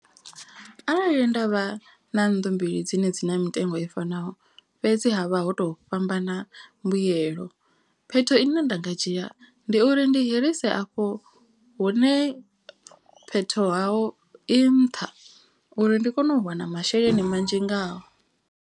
Arali nda vha na nnḓu mbili dzine dzi na mitengo i fanaho. Fhedzi ha vha ho to fhambana mbuyelo phetho ine nda nga dzhia ndi uri ndi hirise afho hune. Phetho haho i nṱha uri ndi kone u wana masheleni manzhi ngaho.